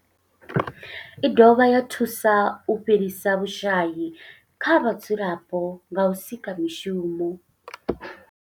I dovha ya thusa u fhelisa vhushayi kha vhadzulapo nga u sika mishumo.